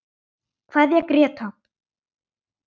Kveðja Gréta.